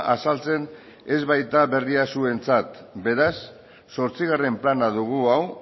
azaltzen ez baita berria zuentzat beraz zortzigarren plana dugu hau